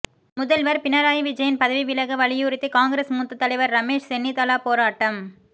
முதல்வர் பினராயி விஜயன் பதவி விலக வலியுறுத்தி காங்கிரஸ் மூத்த தலைவர் ரமேஷ் சென்னிதலா போராட்டம்